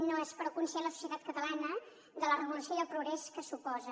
no és prou conscient la societat catalana de la revolució i el progrés que suposa